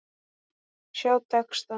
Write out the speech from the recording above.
Sjá texta.